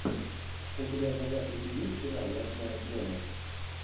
у тебя в загашнике есть сериал ночная смена